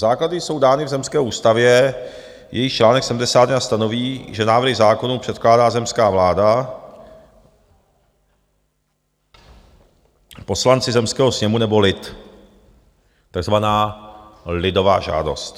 Základy jsou dány v zemské ústavě, jejíž čl. 71 stanoví, že návrhy zákonů předkládá zemská vláda, poslanci zemského sněmu nebo lid, takzvaná lidová žádost.